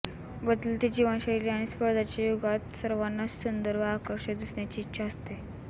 बदलती जीवनशैली आणि स्पर्धेच्या युगात सर्वांनाच सुंदर व आकर्षक दिसण्याची इच्छा असते